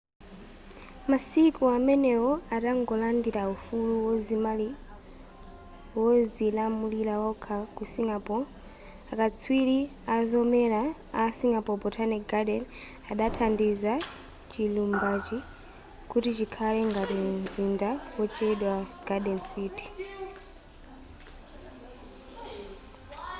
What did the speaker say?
masiku amenewo atangolandila ufulu wozilamulira wokha ku singapore akatswiri azomera a singapore botanic garden adathandiza chilumbachi kuti chikhale ngati mzinda wotchedwa garden city